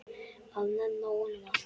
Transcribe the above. Að nenna honum, alltaf.